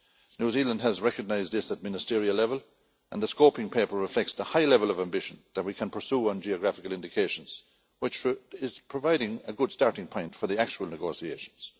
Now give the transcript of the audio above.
New Zealand has recognised this at ministerial level and the scoping paper reflects the high level of ambition that we can pursue on geographical indications, which is providing a good starting point for the actual negotiations.